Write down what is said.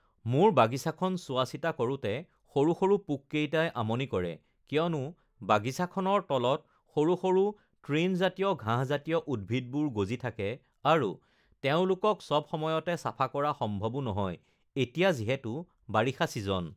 মোৰ বাগিচাখন চোৱা-চিতা কৰোঁতে সৰু সৰু পোককেইটাই আমনি কৰে কিয়নো বাগিচাখনৰ তলত সৰু সৰু তৃণজাতীয় ঘাহঁজাতীয় উদ্ভিদবোৰ গজি থাকে আৰু তেওঁলোকক চব সময়তে চাফা কৰা সম্ভৱো নহয় এতিয়া যিহেতু বাৰিষা ছিজন